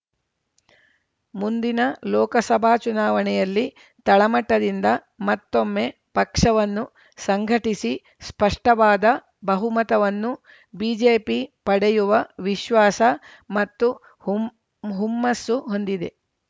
ಮುಂದಿನ ಲೋಕಸಭಾ ಚುನಾವಣೆಯಲ್ಲಿ ತಳಮಟ್ಟದಿಂದ ಮತ್ತೊಮ್ಮೆ ಪಕ್ಷವನ್ನು ಸಂಘಟಿಸಿ ಸ್ಪಷ್ಟವಾದ ಬಹುಮತವನ್ನು ಬಿಜೆಪಿ ಪಡೆಯುವ ವಿಶ್ವಾಸ ಮತ್ತು ಹೂಮ್ ಹುಮ್ಮಸ್ಸು ಹೊಂದಿದೆ